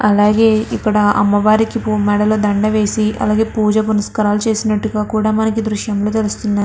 అలాగే ఇక్కడ అమ్మవారి బూ మెడలో దండ వేసి అలాగే పూజ పునస్కారాలు చేసినట్టుగా కూడా మనకి దృశ్యం లో తెలుస్తుంది.